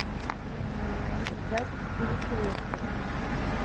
запись перекресток